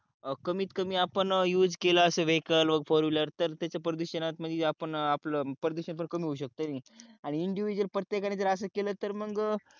कमीत कमी आपण यूज केला असे वेहिकल व फोर विलर त्याच्या प्रदूषणात आपल प्रदूषण पण कमी होऊ शकतो किनी आणि इंडिव्हिज्युअल प्रयत्तेकाणी अस केल तर मग